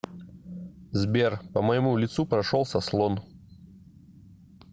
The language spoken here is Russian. сбер по моему лицу прошелся слон